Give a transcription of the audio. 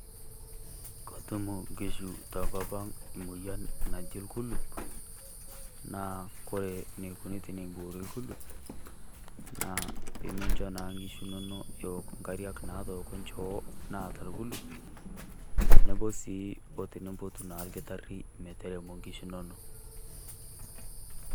Ketum enkishu tenkop ang' moyian naji orkulip', naa ore eneikuni teboori orkulup naa tenimincho enkishu inonok eok engariak naatoko enchoo naata orkulp' , tenebo sii otinimbotu sii olkitarri metermo enkishu inonok.